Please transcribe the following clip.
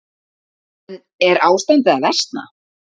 En er ástandið að versna?